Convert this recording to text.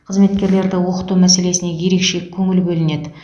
қызметкерлерді оқыту мәселесіне ерекше көңіл бөлінеді